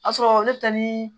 A sɔrɔ ne bɛ taa ni